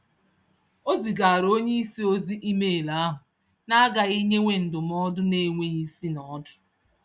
O zigara onyeisi ozi email ahụ, naagaghị nyewe ndụmọdụ n'enweghị isi-n'ọdụ